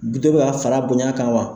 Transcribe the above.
Bi dɔ bɛ ka fara a bonya kan wa?